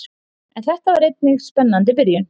En þetta er einnig spennandi byrjun.